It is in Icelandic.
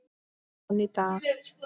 Svo er enn í dag.